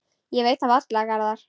Ég veit það varla, Garðar.